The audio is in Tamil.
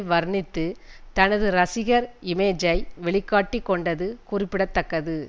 வர்ணித்து தனது ரசிகர் இமேஜை வெளி காட்டி கொண்டது குறிப்பிட தக்கது